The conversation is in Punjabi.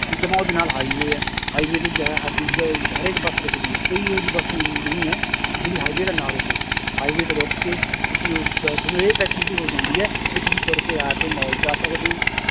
ਜਮਾਂ ਉਹਦੇ ਨਾਲ highway ਹੈ highway ਤੇ ਜ਼ਿਆਦਾ ਹਰੇਕ ਬੱਸ ਰੁੱਕਦੀ ਹੈ ਕੋਈ ਇਹੋ ਜਿਹੀ ਬਸ ਨਹੀਂ ਹੈ ਵੀ ਜਿਹੜੀ highway ਤੇ ਨਾ ਰੁੱਕੇ highway ਤੇ ਰੁੱਕ ਕੇ ਤੁਸੀਂ ਤੁਹਾਨੂੰ ਇਹ facility ਹੋ ਜਾਂਦੀ ਹੈ ਵੀ ਤੁਸੀਂ ਤੁਰ ਕੇ ਆ ਮਾਲ ਚ ਆ ਸਕਦੇ ਹੈ